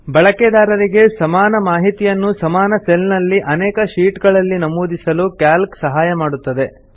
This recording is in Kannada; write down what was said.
ಬಳಕೆದಾರರಿಗೆ ಸಮಾನ ಮಾಹಿತಿಯನ್ನು ಸಮಾನ ಸೆಲ್ ನಲ್ಲಿ ಅನೇಕ ಶೀಟ್ ಗಳಲ್ಲಿ ನಮೂದಿಸಲು ಕ್ಯಾಲ್ಕ್ ಸಹಾಯ ಮಾಡುತ್ತದೆ